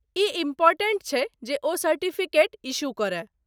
ई important छै जे ओ सर्टिफिकेट इश्यू करय।